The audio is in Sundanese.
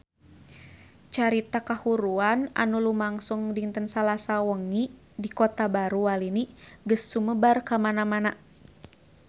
Carita kahuruan anu lumangsung dinten Salasa wengi di Kota Baru Walini geus sumebar kamana-mana